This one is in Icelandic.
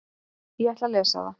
Ég ætla að lesa það.